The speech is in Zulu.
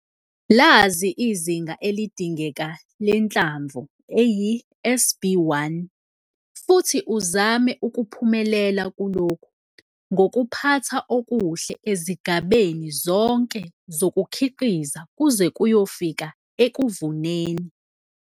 Lazi izinga elidingeka lenhlamvu eyi-SB1 futhi uzame ukuphumelela kulokhu ngokuphatha okuhle ezigabeni zonke zokukhiqiza kuze kuyofika ekuvuneni.